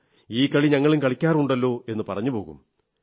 ഈ കളി ഞങ്ങളും കളിക്കാറുണ്ടല്ലോ എന്നു പറഞ്ഞുപോകും